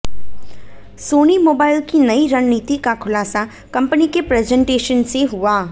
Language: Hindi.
सोनी मोबाइल की नई रणनीति का खुलासा कंपनी के प्रजेंटेशन से हुआ